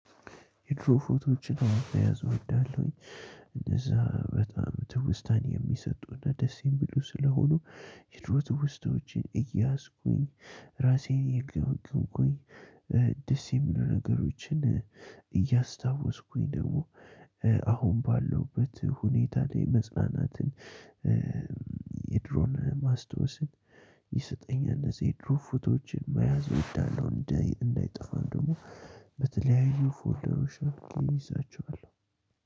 የድሮ ፎቶዎችን መያዘው እወዳለሁኝ እነዛ በጣም ትውስታን የሚሰጡና ደስን የሚሉ ስለሆኑ የድሮ ትውስታዎችን እያዝኩኝ ራሴን እየገመገምኩኝ ደስ የሚሉ ነገሮችን እያስታወስኩኝ ደግሞ አሁን ባለውበት ሁኔታ ላይ መጽናናትን የድሮን ማስታወስን ይሰጠኛል። እዚህ የድሮ ፎቶዎችን መያዝ እወዳለሁ እንዳይጠፋ ደግሞ በተለያዩ ፎልደሮች አድርጌ እይዛቸዋለሁ።